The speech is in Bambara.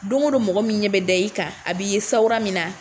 Don o don mɔgɔ min ɲɛ bɛ da i kan a b'i ye sawura min na.